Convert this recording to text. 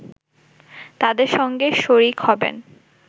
তাদের সঙ্গে শরিক হবেন